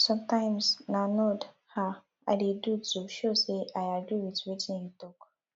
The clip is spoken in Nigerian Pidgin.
sometimes na nod um i dey do to show sey i agree wit wetin you talk